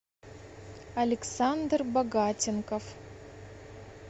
александр богатенков